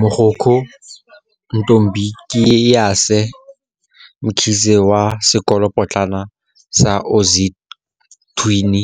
Mogokgo Ntombikayise Mkhize wa Sekolopotlana sa Ozwathini